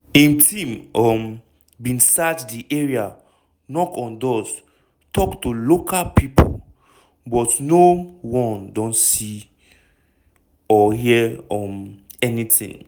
im team um bin search di area knock on doors tok to local pipo but no-one don see or hear um anytin.